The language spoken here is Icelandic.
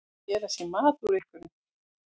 Að gera sér mat úr einhverju